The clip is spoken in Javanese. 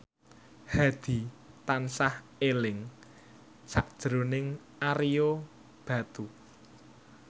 Hadi tansah eling sakjroning Ario Batu